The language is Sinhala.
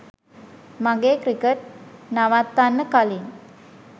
මගේ ක්‍රිකට් නවත්තන්න කලින්